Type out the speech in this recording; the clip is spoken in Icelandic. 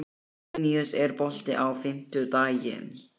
Hún ætlar að hvíla sig fram að áramótum.